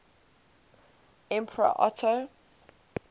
emperor otto